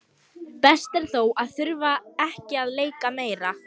Best er þó að þurfa ekki að leika meira.